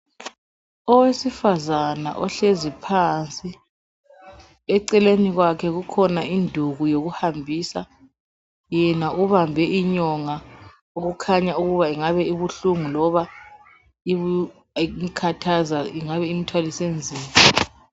Owesifazana ohlezi phansi eceleni kwakhe kukhona induku yokuhambisayena ubambe inyonga okukhanya ingabe ibuhlungu loba ibukhathaza loba ikuthwalise nzima